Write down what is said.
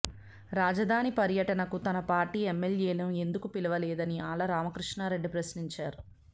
రాజధాని పర్యటనకు తన పార్టీ ఎమ్మెల్యేను ఎందుకు పిలువలేదని ఆళ్ల రామకృష్ణారెడ్డి ప్రశ్నించారు